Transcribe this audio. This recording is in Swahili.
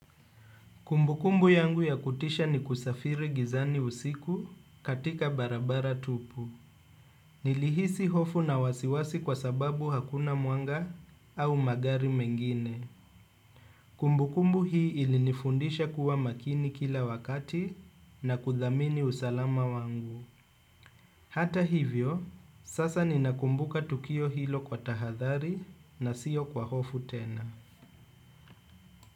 Kumbukumbu yangu ya kutisha ni kusafiri gizani usiku katika barabara tupu. Nilihisi hofu na wasiwasi kwa sababu hakuna mwanga au magari mengine. Kumbukumbu hii ilinifundisha kuwa makini kila wakati na kudhamini usalama wangu hata hivyo sasa ninakumbuka tukio hilo kwa tahathari siyo kwa hofu tena.